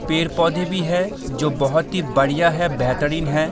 पेड़-पौधे भी हैं जो बहुत ही बढ़िया है बेहतरीन है।